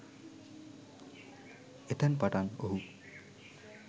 එතැන් පටන් ඔහු